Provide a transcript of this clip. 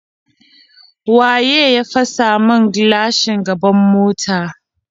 Waye ya fasa min gilashin gaban mota?